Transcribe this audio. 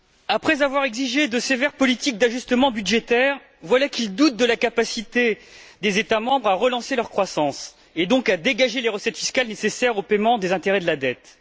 Après avoir exigé de sévères politiques d'ajustement budgétaire, voilà qu'ils doutent de la capacité des États membres à relancer leur croissance, et donc à dégager les recettes fiscales nécessaires au paiement des intérêts de la dette.